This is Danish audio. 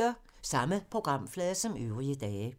Samme programflade som øvrige dage